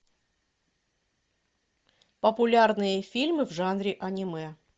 популярные фильмы в жанре аниме